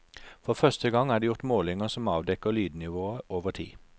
For første gang er det gjort målinger som avdekker lydnivået over tid.